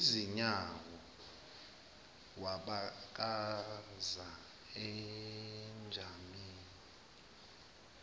izinyawo wabakaza ejamele